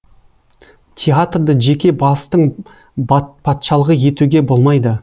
театрды жеке бастың патшалығы етуге болмайды